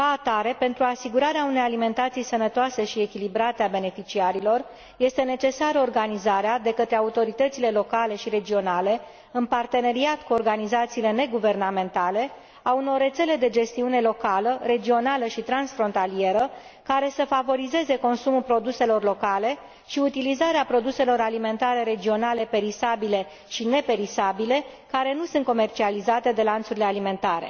Ca atare, pentru asigurarea unei alimentații sănătoase și echilibrate a beneficiarilor, este necesară organizarea, de către autoritățile locale și regionale, în parteneriat cu organizațiile neguvernamentale, a unor rețele de gestiune locală, regională și transfrontalieră care să favorizeze consumul produselor locale și utilizarea produselor alimentare regionale perisabile și neperisabile care nu sunt comercializate de lanțurile alimentare.